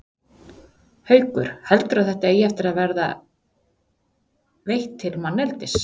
Haukur: Heldurðu að þetta eigi eftir að vera veitt til manneldis?